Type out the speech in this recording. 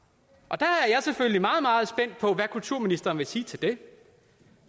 jeg er selvfølgelig meget meget spændt på hvad kulturministeren vil sige til det